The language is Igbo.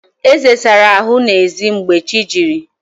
Eze sara ahụ n'ezi mgbe chi jiri